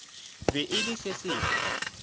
be e le se sengwe